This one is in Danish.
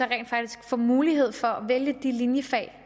rent faktisk får mulighed for at vælge de linjefag